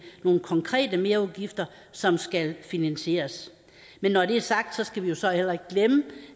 nogle konkrete merudgifter som skal finansieres men når det er sagt skal vi så heller ikke glemme